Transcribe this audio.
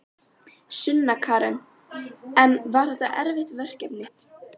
Sunna Karen: En var þetta erfitt verkefni?